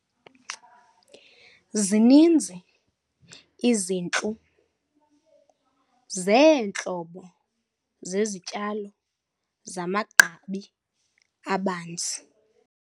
Zininzi izintlu zeentlobo zezityalo zamagqabi abanzi.